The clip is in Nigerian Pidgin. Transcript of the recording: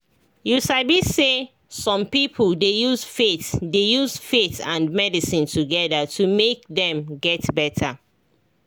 you sabi say some people dey use faith dey use faith and medicine together to make dem get better